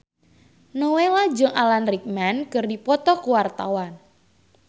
Nowela jeung Alan Rickman keur dipoto ku wartawan